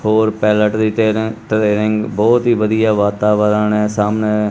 ਹੋਰ ਪੈਲਟ ਦੀ train training ਬਹੁਤ ਹੀ ਵਧੀਆ ਵਾਤਾਵਰਣ ਹ ਸਾਹਮਣੇ।